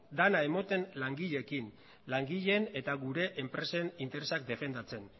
dena ematen langileekin langile eta gure enpresen interesak defendatzen